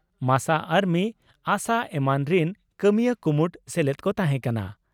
ᱢᱟᱥᱟ ᱟᱨᱢᱤ ᱟᱥᱟ ᱮᱢᱟᱱ ᱨᱤᱱ ᱠᱟᱹᱢᱤᱭᱟᱹ ᱠᱩᱢᱩᱴ ᱥᱮᱞᱮᱫ ᱠᱚ ᱛᱟᱦᱮᱸ ᱠᱟᱱᱟ ᱾